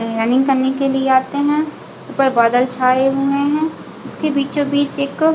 running करने के लिए आते है ऊपर बादल छाए हुए है इसके बीचो-बीच एक--